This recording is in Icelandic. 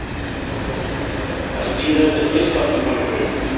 Að skríða undir pilsfaldinn hjá einhverjum